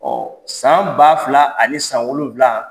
san ba fila ani san wolonwula